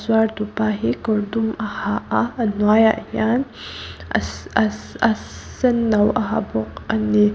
zuar tupa hi kawr dum a ha a a hnuaiah hian aa-aa-aa-senno a ha bawk a ni.